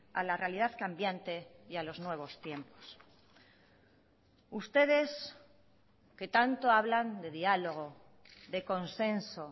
a la realidad cambiante y a los nuevos tiempos ustedes que tanto hablan de diálogo de consenso